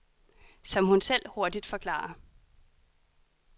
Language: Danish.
Som hun selv hurtigt forklarer.